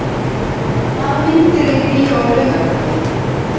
Júní, hvaða myndir eru í bíó á laugardaginn?